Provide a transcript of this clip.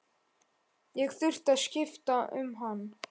Ég þurfti að skipta um hann.